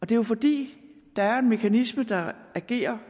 det er jo fordi der er en mekanisme der agerer